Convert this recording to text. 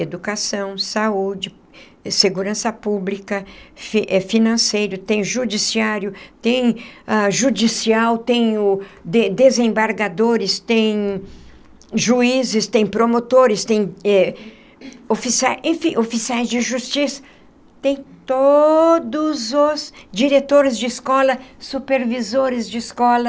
Educação, saúde, segurança pública, fi financeiro, tem judiciário, tem ah judicial, tem o de desembargadores, tem o juízes, tem promotores, tem oficiais enfim oficiais de justiça, tem todos os diretores de escola, supervisores de escola.